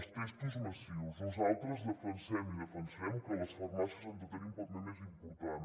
els testos massius nosaltres defensem i defensarem que les farmàcies han de tenir un paper més important